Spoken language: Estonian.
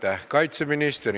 Aitäh, kaitseminister!